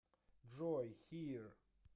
джой хир